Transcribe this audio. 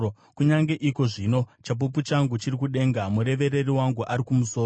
Kunyange iko zvino chapupu changu chiri kudenga; murevereri wangu ari kumusoro.